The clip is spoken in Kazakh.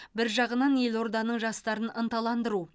бір жағынан елорданың жастарын ынталандыру